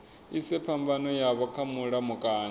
ise phambano yavho kha mulamukanyi